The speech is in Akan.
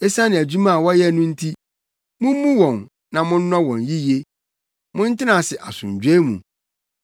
Esiane adwuma a wɔyɛ no nti, mummu wɔn na monnɔ wɔn yiye. Montena ase asomdwoe mu.